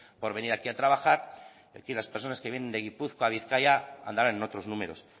por venir aquí a trabajar y aquí las persona que viene de gipuzkoa bizkaia andarán en otros números